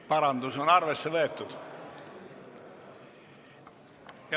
Parandus on arvesse võetud.